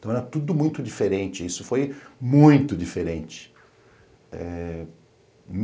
Então era tudo muito diferente, isso foi muito diferente. Eh